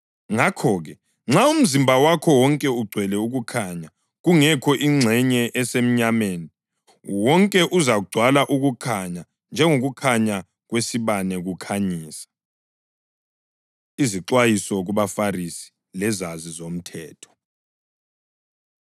Ngakho-ke, nxa umzimba wakho wonke ugcwele ukukhanya kungekho ingxenye esemnyameni, wonke uzagcwala ukukhanya njengokukhanya kwesibane kukukhanyisa.” Izixwayiso KubaFarisi Lezazi Zomthetho